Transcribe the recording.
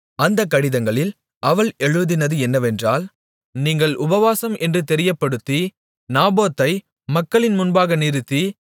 அந்த கடிதங்களில் அவள் எழுதினது என்னவென்றால் நீங்கள் உபவாசம் என்று தெரியப்படுத்தி நாபோத்தை மக்களின் முன்பாக நிறுத்தி